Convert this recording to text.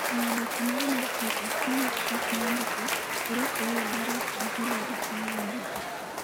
E oboke mare mar Twitter, moluor Trump ne ondiko ni, "orwak u, Barack gi Hillary mawuondo ji'.